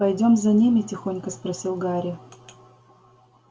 пойдём за ними тихонько спросил гарри